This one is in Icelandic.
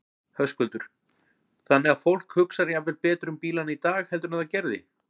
Höskuldur: Þannig að fólk hugsar jafnvel betur um bílana í dag heldur en það gerði?